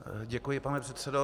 Děkuji, pane předsedo.